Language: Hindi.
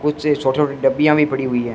कुछ छोटे छोटे डब्बियां भी पड़ी हुई हैं।